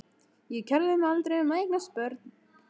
Ég kærði mig aldrei um að eignast börn.